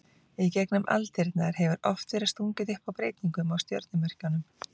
Í gegnum aldirnar hefur oft verið stungið upp á breytingum á stjörnumerkjunum.